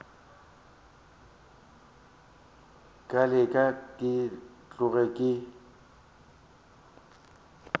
ka leke ke tloge ke